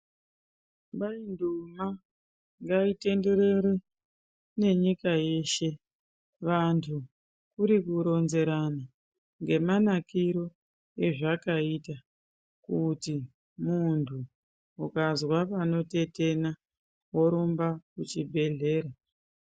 Maingomwa ngaitenderere ngenyika yeshe vantu kuri kuronzerana ngemanakire azvakaita kuti muntu ukazwe panotetena worumbe kuchibhedhlera .